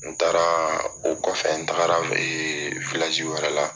N taara o kɔfɛ n taagara wɛrɛ la